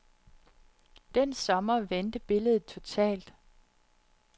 Den sommer vendte billedet totalt.